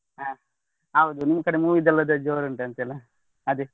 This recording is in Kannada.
ಹಾ ಹೌದು ನಿಮ್ ಕಡೆ movie ದು ಅದೇ ಜೋರು ಉಂಟಂತೆ ಅಲ್ಲಾ ಅದೇ.